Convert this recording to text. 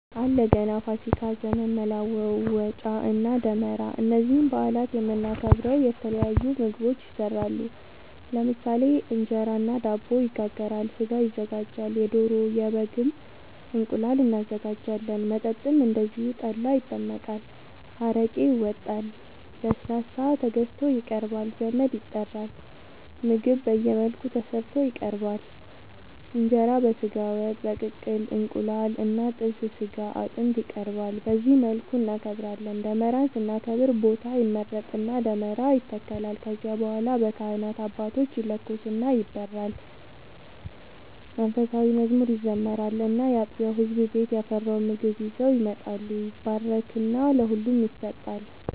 አለ ገና፣ ፋሲካ፣ ዘመን መለወጫ እና ደመራ እነዚህን በአላት የምናከብረው የተለያዩ ምግቦች ይሰራሉ ለምሳሌ እንጀራ እና ዳቦ ይጋገራል፣ ስጋ ይዘጋጃል የዶሮ፣ የበግም፣ እንቁላል እናዘጋጃለን። መጠጥም እንደዚሁ ጠላ ይጠመቃል፣ አረቄ ይወጣል፣ ለስላሳ ተገዝቶ ይቀርባል ዘመድ ይጠራል ምግብ በየመልኩ ተሰርቶ ይቀርባል እንጀራ በስጋ ወጥ፣ በቅቅል እንቁላል እና ጥብስ ስጋ አጥንት ይቀርባል በዚህ መልኩ እናከብራለን። ደመራን ስናከብር ቦታ ይመረጥና ደመራ ይተከላል ከዚያ በኋላ በካህናት አባቶች ይለኮስና ይበራል መንፉሳዊ መዝሙር ይዘመራል እና ያጥቢያው ህዝብ ቤት ያፈራውን ምግብ ይዘው ይመጣሉ ይባረክና ለሁሉም ይሰጣል።